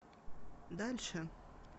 дальше